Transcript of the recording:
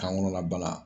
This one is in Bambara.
Kan kɔnɔna bana